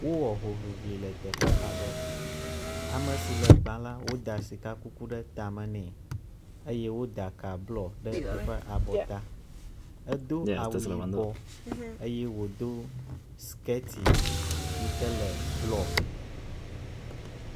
Wowɔ hoʋiʋli le teƒe aɖe, amesi le gbã la woda sikakuku ɖe tame nɛ eye woda ka bluɔ ɖe yiƒe abɔta. Edo awu yibɔ eye wodo skirti yike le bluɔ.